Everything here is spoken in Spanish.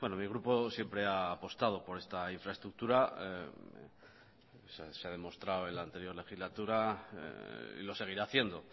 mi grupo siempre ha apostado por esta infraestructura se ha demostrado en la anterior legislatura y lo seguirá haciendo